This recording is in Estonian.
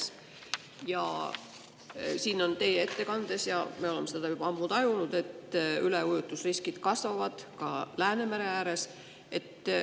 Teie ettekandest ja me oleme seda juba ammu tajunud, et üleujutuse riskid kasvavad ka Läänemere ääres.